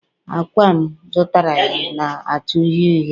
Ákwà m zụtara ya na-acha uhie uhie